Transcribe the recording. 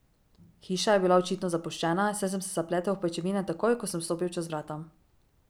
Hiša je bila očitno zapuščena, saj sem se zapletel v pajčevine takoj, ko sem stopil čez vrata.